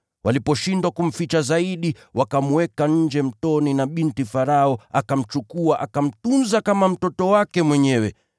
Waliposhindwa kumficha zaidi, wakamweka nje mtoni na binti Farao akamchukua akamtunza kama mtoto wake mwenyewe.